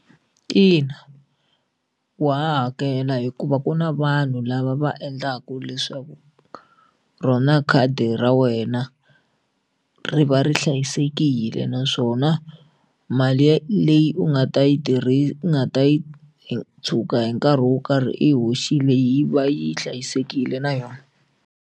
Ina wa ha hakela hikuva ku na vanhu lava va endlaka leswaku rona khadi ra wena ri va ri hlayisekile naswona mali leyi u nga ta yi u nga ta yi tshuka hi nkarhi wo karhi i yi hoxile yi va yi hlayisekile na yona.